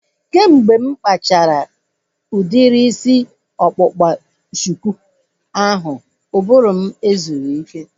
Kemgbe mụ kpachara udiri isi ọkpụkpa shuku ahu, ụbụrụ m ezubeghi ike